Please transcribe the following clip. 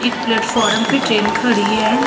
एक प्लेटफार्म पर ट्रैन खड़ी है ।